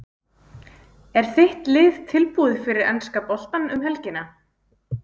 Er þitt lið tilbúið fyrir enska boltann um helgina?